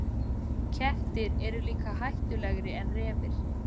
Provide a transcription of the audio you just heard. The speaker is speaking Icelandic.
Kettir eru líka hættulegri en refir.